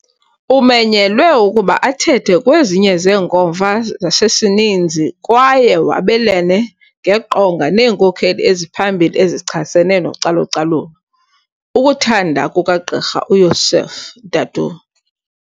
Umenyelwe ukuba athethe kwezinye zeenkomfa zasesininzi kwaye wabelane ngeqonga neenkokheli eziphambili ezichasene nocalucalulo, ukuthanda kukaGqr uYosuf Dadoo